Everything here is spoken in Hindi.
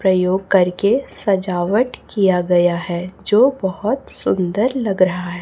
प्रयोग करके सजावट किया गया है जो बहोत सुंदर लग रहा है।